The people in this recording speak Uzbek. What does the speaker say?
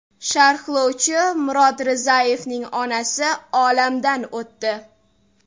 Sharhlovchi Murod Rizayevning onasi olamdan o‘tdi.